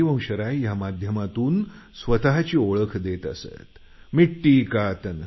हरिवंशराय या माध्यमातून आपली स्वतची ओळख देत असतात